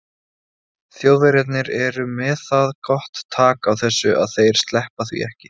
Þjóðverjarnir eru með það gott tak á þessu að þeir sleppa því ekki.